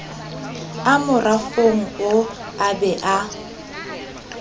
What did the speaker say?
a morafong oo a bea